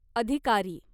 अधिकारी